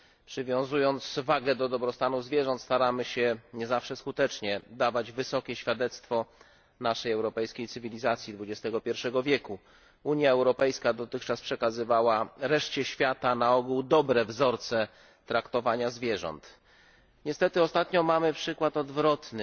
Przywiązując wagę do dobrostanu zwierząt staramy się, nie zawsze skutecznie, dawać wysokie świadectwo naszej europejskiej cywilizacji XXI wieku. Unia Europejska dotychczas przekazywała reszcie świata na ogół dobre wzorce traktowania zwierząt. Niestety ostatnio mamy przykład odwrotny.